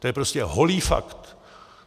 To je prostě holý fakt.